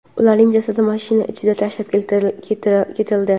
ularning jasadi mashina ichiga tashlab ketildi.